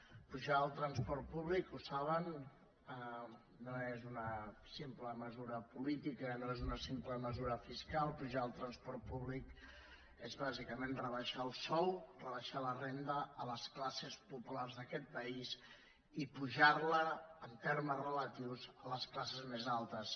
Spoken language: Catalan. la pujada del transport públic ho saben no és una simple mesura política no és una simple mesura fiscal apujar el transport públic és bàsicament rebaixar el sou rebaixar la renda a les classes populars d’aquest país i apujar la en termes relatius a les classes més altes